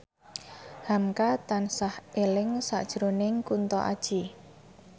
hamka tansah eling sakjroning Kunto Aji